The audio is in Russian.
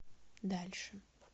дальше